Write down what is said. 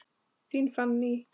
Þín Fanný.